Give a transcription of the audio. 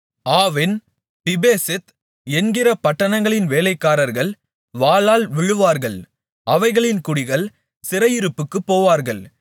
Aavin Pibeseth என்கிற பட்டணங்களின் வேலைக்காரர்கள் வாளால் விழுவார்கள் அவைகளின் குடிகள் சிறையிருப்புக்குப் போவார்கள்